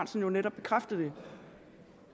jeg vil